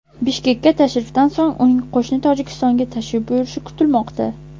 Bishkekka tashrifdan so‘ng, uning qo‘shni Tojikistonga tashrif buyurishi kutilmoqda.